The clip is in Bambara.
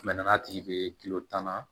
n'a tigi ye tan na